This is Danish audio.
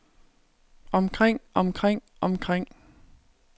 omkring omkring omkring